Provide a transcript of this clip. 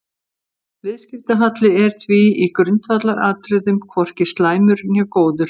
Viðskiptahalli er því í grundvallaratriðum hvorki slæmur né góður.